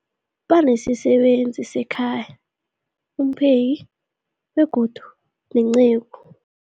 Banesisebenzi sekhaya, umpheki, begodu nenceku.